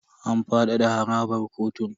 An fadada harabar kotun.